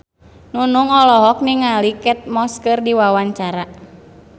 Nunung olohok ningali Kate Moss keur diwawancara